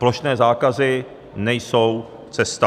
Plošné zákazy nejsou cesta.